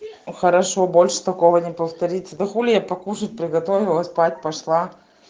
хорошо больше такого не повторится да хули я покушать приготовила спать пошла